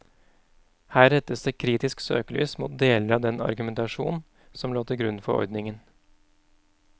Her rettes det kritisk søkelys mot deler av den argumentasjon som lå til grunn for ordningen.